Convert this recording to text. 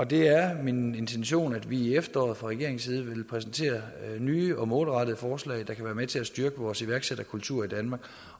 det er min intention at vi i efteråret fra regeringens side præsenterer nye og målrettede forslag der kan være med til at styrke vores iværksætterkultur i danmark